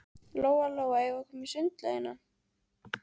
Lóa Lóa, eigum við að koma í sundlaugina?